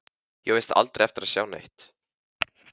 Ég á víst aldrei eftir að sjá neitt.